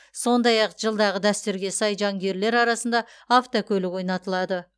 сондай ақ жылдағы дәстүрге сай жанкүйерлер арасында автокөлік ойнатылады